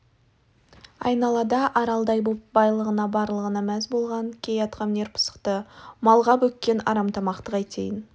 айналада аралдай боп байлығына барлығына мәз болған кей атқамінер пысықты малға бөккен арамтамақты қайтейін